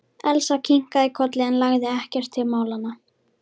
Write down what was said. Elsa kinkaði kolli en lagði ekkert til málanna.